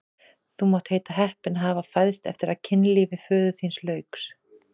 Þú mátt heita heppinn að hafa fæðst eftir að kynlífi föður þíns lauk!